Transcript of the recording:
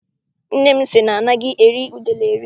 Nne m sị na anaghị eri udele eri.